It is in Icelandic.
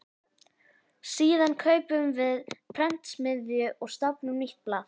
Síðan kaupum við prentsmiðju og stofnum nýtt blað.